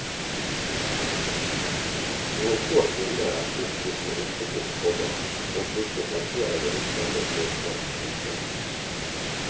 Noen få kvinner er oppgitt med yrket sitt, komma og disse plasserer jeg i samme gruppe. punktum